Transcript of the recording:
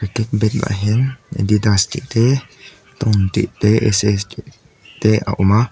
ah hian adidas tih te ton tih te ss tih te a awm a.